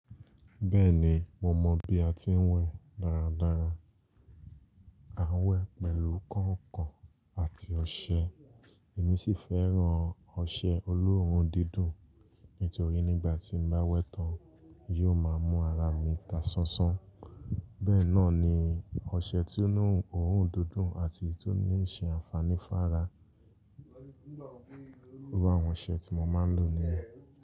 Bẹ́ẹ̀ni mo mọ̀ bí a ti ń wẹ̀ dáradára. A wẹ̀ pẹ̀lú kànkàn àti ọṣẹ èmi sì fẹ́ràn ọṣẹ olóòórùn dídùn nítorí nígbà tí mo bá wẹ̀ tán yóò máa mú ara mi ta sánsán bẹ́ẹ̀ náà ni ọṣẹ tó ní òórùn dídùn àti èyí tó ní ṣe àǹfààní fá ara. Wá àwọn ọṣẹ tí mo máa ń lò nìyẹn.